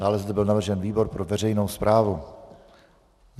Dále zde byl navržen výbor pro veřejnou správu.